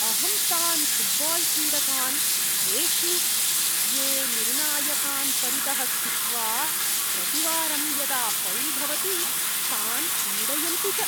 अहं तान् फ़ुट्बाल्क्रीडकान् द्वेष्मि, ये निर्णायकान् परितः स्थित्वा, प्रतिवारं यदा फ़ौल् भवति तान् पीडयन्ति च।